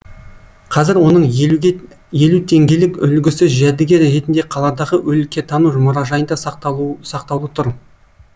қазір оның елу теңгелік үлгісі жәдігер ретінде қаладағы өлкетану мұражайында сақтаулы тұр